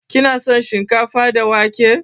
Kina son shinkafa da wake?